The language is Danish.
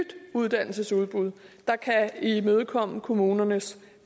uddannelsesudbud der kan imødekomme kommunernes